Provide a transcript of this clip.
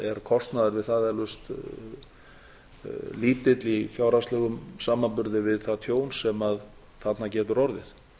kostnaður við það eflaust lítill í fjárhagslegum samanburði við það tjón sem þarna getur orðið